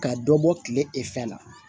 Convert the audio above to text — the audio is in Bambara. Ka dɔ bɔ kile la